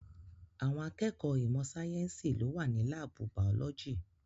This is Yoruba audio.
Àwọn akẹ́kọ̀ọ́ ìmọ̀ sáyẹ̀nsì ló wà ní láàbù bàọ́lójì.